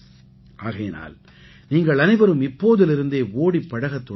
ஆகையினால் நீங்களனைவரும் இப்போதிலிருந்தே ஓடிப் பழகத் தொடங்குங்கள்